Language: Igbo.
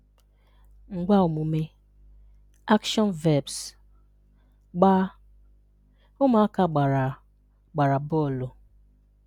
Ngwaaomume (Action Verbs) – Gbaa: “Ụmụaka gbara gbara bọọlụ.”